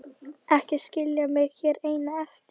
Ekki skilja mig hér eina eftir!